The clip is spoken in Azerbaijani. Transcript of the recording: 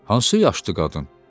Hansı yaşlı qadın?